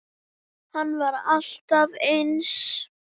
Hann var alltaf eins.